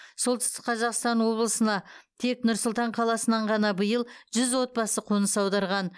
солтүстік қазақстан облысына тек нұр сұлтан қаласынан ғана биыл жүз отбасы қоныс аударған